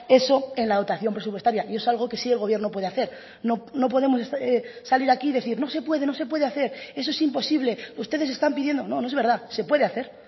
eso en la dotación presupuestaria y es algo que sí el gobierno puede hacer no podemos salir aquí y decir no se puede no se puede hacer eso es imposible ustedes están pidiendo no no es verdad se puede hacer